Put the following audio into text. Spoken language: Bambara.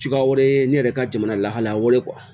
Cogoya wɛrɛ ye ne yɛrɛ ka jamana lahalaya